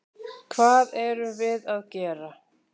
Hvað erum við gera?